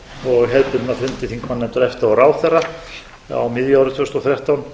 og hefðbundna fundi þingmannanefndar efta og ráðherra á miðju ári tvö þúsund og þrettán